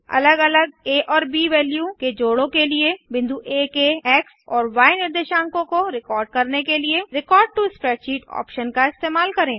अलग अलग आ और ब वैल्यू के जोड़ों के लिए बिंदु आ के एक्स और य निर्देशांकों को रिकॉर्ड करने के लिए रेकॉर्ड टो स्प्रेडशीट ऑप्शन का इस्तेमाल करें